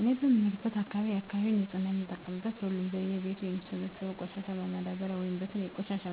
እኔ በምኖርበት አካባቢ የአካባቢውን ንፅህና የምንጠብቀው ሁሉም በየ ቤቱ የሚሰበሰበውን ቆሻሻ በማዳበርያ ወይም በተለያዩ የቆሻሻ